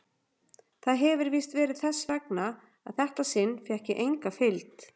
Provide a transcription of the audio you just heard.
Það hefir víst verið þess vegna að þetta sinn fékk ég enga fylgd.